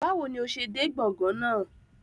Bawo ni o ṣe de gbọ̀ngàn náa?